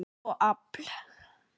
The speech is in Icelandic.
eff og afl.